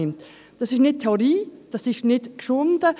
Das ist nicht Theorie, das ist nicht herausgeschunden.